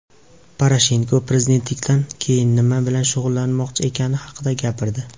Poroshenko prezidentlikdan keyin nima bilan shug‘ullanmoqchi ekani haqida gapirdi.